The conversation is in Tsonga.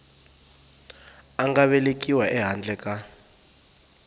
a nga velekiwa ehandle ka